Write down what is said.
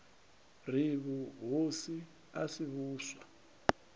ri vhuhosi a si vhuswa